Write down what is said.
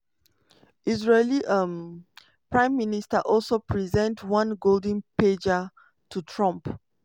israeli um prime minister also present one golden pager to trump.